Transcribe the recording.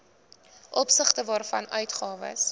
opsigte waarvan uitgawes